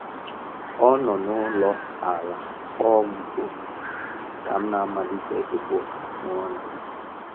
Ọ nọ n'ụlọ ala kpọọ m oku ka m na - amalite ịkpụ afụ ọnụ